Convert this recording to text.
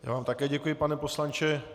Já vám také děkuji pane poslanče.